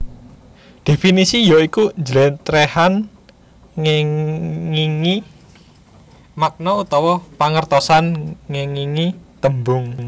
Definisi ya iku njlèntrèhan ngèngingi makna utawa pangertosan ngèngingi tembung